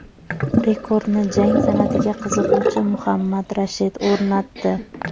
Rekordni jang san’atiga qiziquvchi Mohammad Rashid o‘rnatdi.